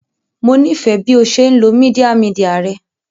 Mo nifẹ bi o ṣe nlo media media rẹ